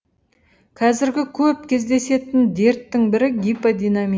қазіргі көп кездесетін дерттің бірі гиподинамия